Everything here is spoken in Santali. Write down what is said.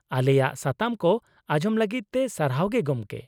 ᱟᱞᱮᱭᱟᱜ ᱥᱟᱛᱟᱢ ᱠᱚ ᱟᱸᱡᱚᱢ ᱞᱟᱹᱜᱤᱫ ᱛᱮ ᱥᱟᱨᱦᱟᱶ ᱜᱮ, ᱜᱚᱝᱠᱮ ᱾